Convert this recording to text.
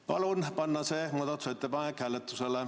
Palun panna see muudatusettepanek hääletusele.